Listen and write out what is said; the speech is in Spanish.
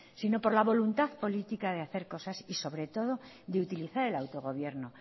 sino por la voluntado política de hacer cosas y sobre todo de utilizar el autogobierno